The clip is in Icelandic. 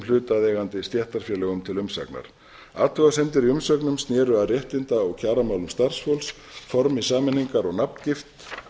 hlutaðeigandi stéttarfélögum til umsagnar athugasemdir í umsögnum sneru að réttinda og kjaramálum starfsfólks formi sameiningar og nafngift